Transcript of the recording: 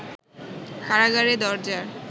কারাগারের দরজা